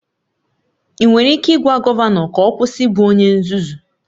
Ị nwere ike ịgwa gọvanọ ka ọ kwụsị ịbụ onye nzuzu?